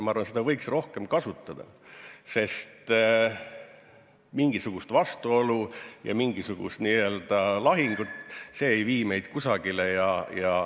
Ma arvan, et seda võiks rohkem kasutada, sest vastuolud ja lahingud ei vii meid kusagile.